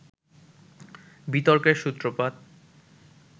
বিতর্কের সূত্রপাত